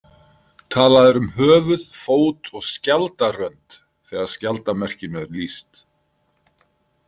Talað er um höfuð, fót og skjaldarrönd þegar skjaldarmerkinu er lýst.